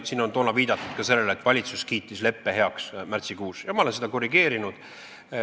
Siin on viidatud ka sellele, et valitsus kiitis leppe heaks märtsikuus, ja ma olen seda korrigeerinud.